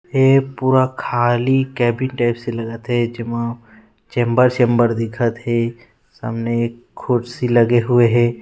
ऐ पूरा खाली केबिन टाइप से लगत हे जेमा चैम्बर सेम्बर दिखत हे सामने खुर्सी लगे हुए हे।